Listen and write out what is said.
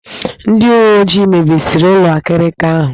Ndị uwe ojii mebisiri ụlọ akịrịka ahụ.